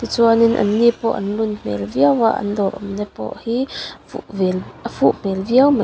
chuanin an ni pawh an lun hmel viau a an dawr awm na pawh hi fuh vel a fuh hmel viau mai.